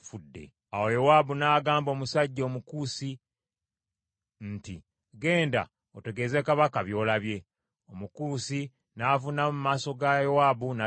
Awo Yowaabu n’agamba omusajja Omukusi nti, “Genda otegeeze kabaka by’olabye.” Omukusi n’avuunama mu maaso ga Yowaabu n’adduka.